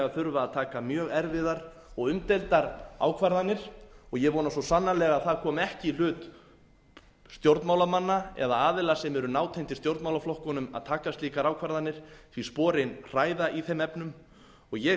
þurfa að taka mjög erfiðar og umdeildar ákvarðanir og ég vona svo sannarlega að það komi ekki í hlut stjórnmálamanna eða aðila sem eru nátengdir stjórnmálaflokkunum að taka slíkar ákvarðanir því sporin hræða í þeim efnum og ég